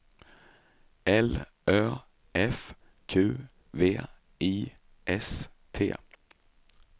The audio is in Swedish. L Ö F Q V I S T